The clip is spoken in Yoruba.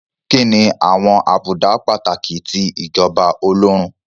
Kí ni àwọn àbùdá pàtàkì ti ìjọba Ọlọ́run?